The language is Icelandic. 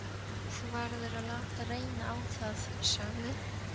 Þú verður að láta reyna á það, sagði